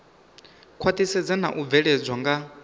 khwaṱhisedzwa na u bveledzwa nga